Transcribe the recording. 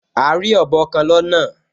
A rí ọ̀bọ kan lọ́nà